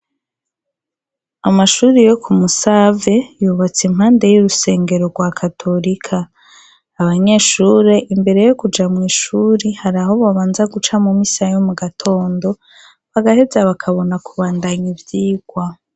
Amashure yo ku Musave yubatse impande y'urusengero rwa katorika. Abanyeshure imbere yo kuja mw'ishure haraho babanza guca mu misa yo mu gatondo, bagaheza bakabona kubandanya ivyigwa.